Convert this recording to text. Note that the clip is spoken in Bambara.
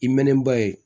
I mɛnɛ ba ye